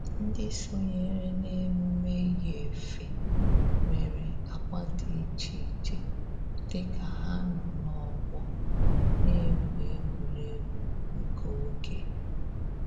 Ndị sonyere n'emume yi efe nwere agba dị iche iche dịka ha nọ n'ọgbọ na-egwu egwuregwu nke oge